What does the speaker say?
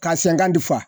Ka sen ka di fa